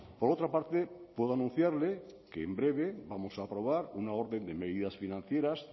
por otra parte puedo anunciarle que en breve vamos a aprobar una orden de medidas financieras